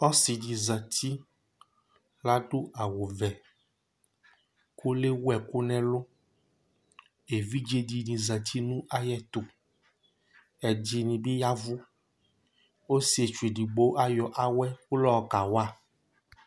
Ɔsidi zɛti Ladu awʋ vɛ kʋ lewu ɛkʋ nʋ ɛlu Evidze dìní zɛti nʋ ayɛtʋ, ɛdiní bi yavʋ Ɔsiɛtsu ɛdigbo ayɔ awɛ kʋ layɔ kawa